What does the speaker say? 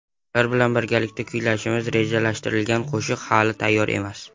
Ular bilan birgalikda kuylashimiz rejalashtirilgan qo‘shiq hali tayyor emas.